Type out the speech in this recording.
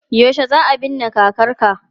Yaushe za a binne kakarka?